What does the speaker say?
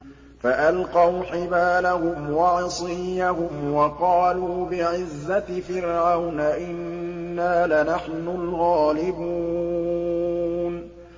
فَأَلْقَوْا حِبَالَهُمْ وَعِصِيَّهُمْ وَقَالُوا بِعِزَّةِ فِرْعَوْنَ إِنَّا لَنَحْنُ الْغَالِبُونَ